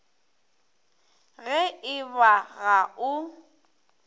ge e ba ga o